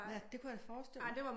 Ja det kunne jeg forestille mig